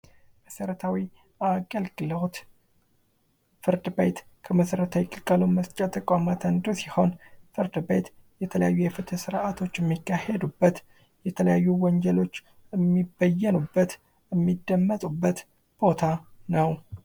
መሠረታዊ አገልግሎት ፍርድ ቤት ከመሠረታዊ ግልጋሎት መስጫ ተቋማት አንዱ ሲሆን ፍርድ ቤት የተለያዩ የፍትህ ስርዓቶች የሚካሔዱበት የተለያዩ ወንጀሎች የሚበየኑበት፥ እሚደመጡበት ቦታ ነው።